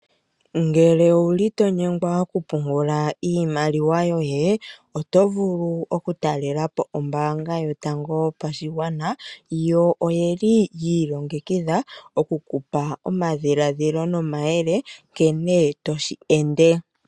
Ngele owuli to nyengwa okupungula iimaliwa yoye oto vulu oku talelapo ombanga yotango yopashigwana yo oyeli yi ilongekidha okukupa omadhiladhilo nomayele nkene toshi ende.